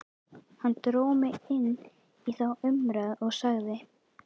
Hann dró mig inn í þá umræðu og sagði